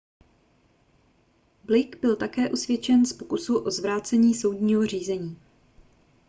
blake byl také usvědčen z pokusu o zvrácení soudního řízení